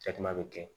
bɛ kɛ